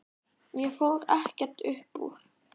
Ég fór ekkert upp úr.